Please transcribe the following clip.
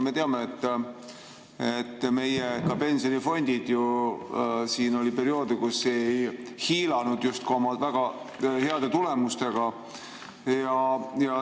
Me teame, et ka meie pensionifondidel on olnud perioode, kui nad ei ole hiilanud oma väga heade tulemustega.